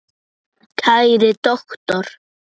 Kæri doktor